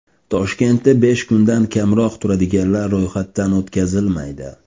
Toshkentda besh kundan kamroq turadiganlar ro‘yxatdan o‘tkazilmaydi.